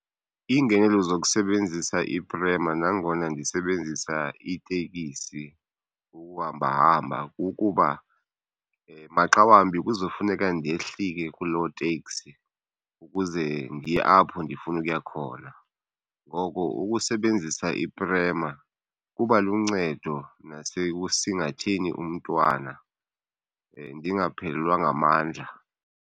Iingenelo zokusebenzisa iprema nangona ndisebenzisa iitekisi ukuhambahamba kukuba maxa wambi kuzofuneka ndehlike kuloo teksi ukuze ndiye apho ndifuna ukuya khona ngoko ukusebenzisa iprema kuba luncedo nasekusingatheni umntwana, ndingaphelelwa ngamandla.